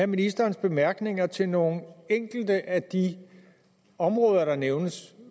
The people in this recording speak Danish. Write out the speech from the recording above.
ministerens bemærkninger til nogle enkelte af de områder der nævnes